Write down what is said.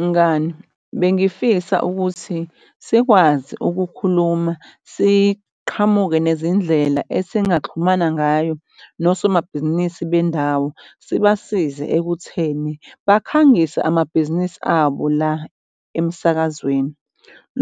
Mngani, bengifisa ukuthi sikwazi ukukhuluma, siqhamuke nezindlela esingaxhumana ngayo nosomabhizinisi bendawo, sibasize ekutheni bakhangise amabhizinisi abo la emsakazweni.